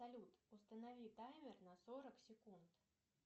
салют установи таймер на сорок секунд